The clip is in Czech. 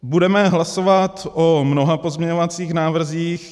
Budeme hlasovat o mnoha pozměňovacích návrzích.